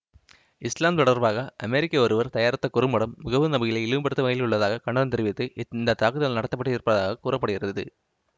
இசுலாம் தொடர்பாக அமெரிக்கர் ஒருவர் தயாரித்த குறும்படம் முகமது நபிகளை இழிவுபடுத்தும் வகையில் உள்ளதாக கண்டனம் தெரிவித்து இந்த தாக்குதல் நடத்தப்பட்டிருப்பதாகக் கூற படுகிறது